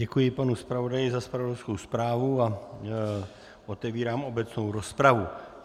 Děkuji panu zpravodaji za zpravodajskou zprávu a otevírám obecnou rozpravu.